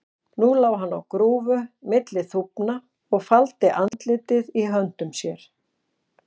Nú lá hann á grúfu milli þúfna og faldi andlitið í höndum sér.